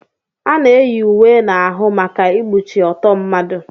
Ana eyi uwe n'ahụ maka ikpuchi ọtọ mmadụ.